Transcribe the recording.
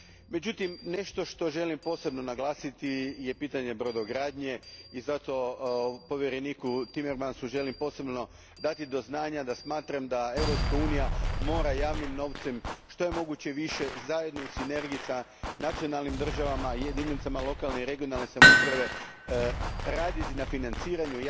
Međutim, nešto što želim posebno naglasiti je pitanje brodogradnje i zato povjereniku Timmermansu želim posebno dati do znanja da smatram da Europska unija mora javnim novcem što je više moguće, zajedno u sinergiji s nacionalnim državama i jedinicama lokalne i regionalne samouprave, raditi na financiranju